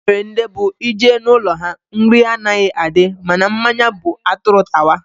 Enwere ndị bụ ị jee n'ụlọ ha, nri anaghị adị mana mmanya bụ atụrụ tawa